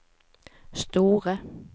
store